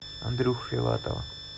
андрюху филатова